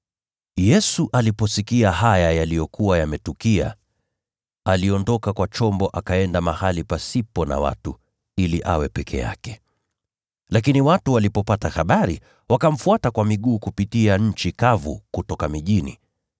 Yesu aliposikia yaliyokuwa yametukia, aliondoka kwa chombo akaenda mahali pasipo na watu ili awe peke yake. Lakini watu walipopata habari, wakamfuata kwa miguu kupitia nchi kavu kutoka miji.